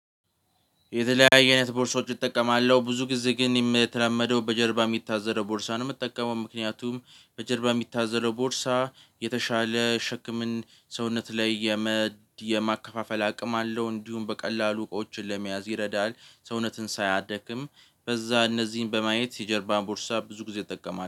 የተለያየ አይነት ቦርሳዎች እጠቀማለሁ ብዙ ጊዜ ግን የምተለመደው በጀርባ የሚታዘለው ቦርሳ ነው የምጠቀመው ምክንያቱም በጀርባ የሚታዘለው ቦርሳ የተሻለ ሸክምን ሰውነት ላይ የማከፋፈል አቅም አለው። እንዲሁም በቀላሉ እቃዎችን ለመያዝ ይረዳል። ሰውነትን ሳያደክም በዛ እነዚህን በማየት የጀርባ ቦርሳ ብዙ ጊዜ እጠቀማለሁ